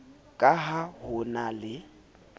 ka ha ho na le